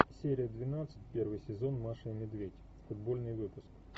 серия двенадцать первый сезон маша и медведь футбольный выпуск